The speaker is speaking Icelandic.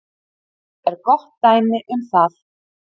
Ég er gott dæmi um það.